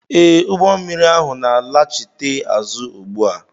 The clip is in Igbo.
Ee, ụgbọ mmiri ahụ na-alachite azụ ugbu a